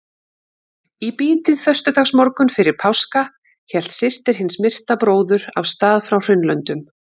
Í bítið föstudagsmorgunn fyrir páska hélt systir hins myrta bróður af stað frá Hraunlöndum.